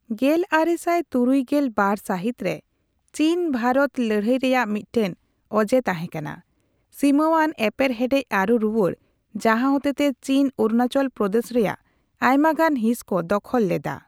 ᱜᱮᱞᱟᱨᱮᱥᱟᱭ ᱛᱩᱨᱩᱭ ᱜᱮᱞ ᱵᱟᱨ ᱥᱟᱹᱦᱤᱛᱨᱮ ᱪᱤᱱᱼᱵᱷᱟᱨᱚᱛ ᱞᱟᱹᱲᱦᱟᱹᱭ ᱨᱮᱭᱟᱜ ᱢᱤᱫᱴᱟᱝ ᱚᱡᱮ ᱛᱟᱦᱮᱸᱠᱟᱱᱟ ᱥᱤᱢᱟᱹᱣᱟᱱ ᱮᱯᱮᱨᱦᱮᱸᱰᱮᱡᱽ ᱟᱹᱨᱩ ᱨᱩᱣᱟᱲ, ᱡᱟᱦᱟᱸ ᱦᱚᱛᱮᱛᱮ ᱪᱤᱱ ᱚᱨᱩᱱᱟᱪᱚᱞ ᱯᱨᱚᱫᱮᱥ ᱨᱮᱭᱟᱜ ᱟᱭᱢᱟᱜᱟᱱ ᱦᱤᱸᱥ ᱠᱚ ᱫᱚᱠᱷᱚᱞ ᱞᱮᱫᱟ ᱾